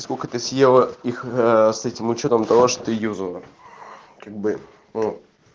сколько ты съела их с этим учётом того что ты юзала как бы ну